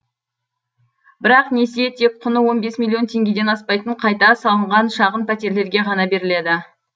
бірақ несие тек құны он бес миллион теңгеден аспайтын қайта салынған шағын пәтерлерге ғана беріледі